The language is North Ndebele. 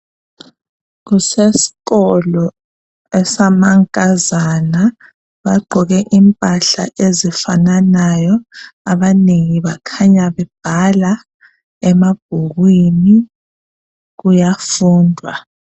Kuseskolo esamankazana , bagqoke impahla ezifananayo , abanengi bakhanya bebhala emabhukwini kuyafundwa